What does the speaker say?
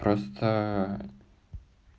просто